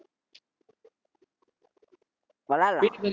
விளையாடலா